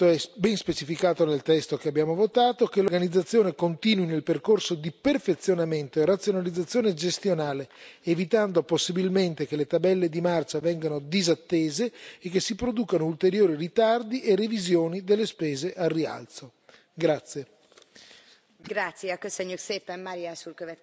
È necessario, voglio aggiungere anche questo, e ciò è ben specificato nel testo che abbiamo votato e che voteremo, che l'organizzazione continui nel percorso di perfezionamento e razionalizzazione gestionale, evitando possibilmente che le tabelle di marcia vengano disattese e che si producano ulteriori ritardi e revisioni delle spese al rialzo.